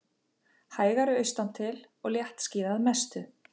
Hægari austantil og léttskýjað að mestu